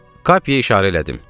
Kape işarə elədim.